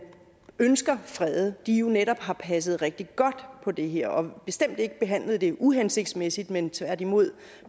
ønsker fredet jo netop har passet rigtig godt på det her og bestemt ikke behandlet det uhensigtsmæssigt men tværtimod